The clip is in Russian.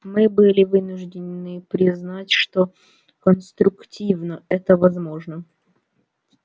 мы были вынуждены признать что конструктивно это возможно